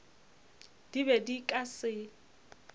di be di ka se